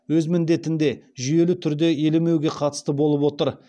өз міндетінде жүйелі түрде елемеуге қатысты болып отыр